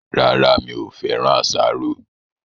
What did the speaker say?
Rárá, mi ò féràn asaro